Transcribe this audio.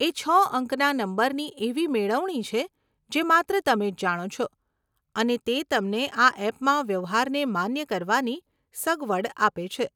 એ છ અંકના નંબરની એવી મેળવણી છે, જે માત્ર તમે જ જાણો છો અને તે તમને આ એપમાં વ્યવહારને માન્ય કરવાની સગવડ આપે છે.